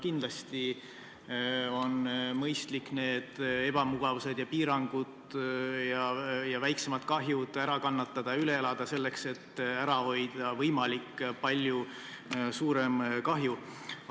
Kindlasti on mõistlik need ebamugavused ja piirangud ja väiksemad kahjud ära kannatada ja üle elada, selleks et ära hoida võimalik palju suurem kahju.